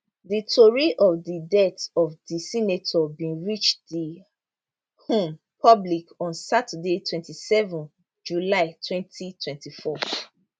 di tori of di death of di senator bin reach di um public on saturday 27 july 2024